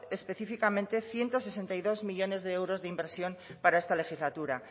específicamente ciento sesenta y dos millónes de euros de inversión para esta legislatura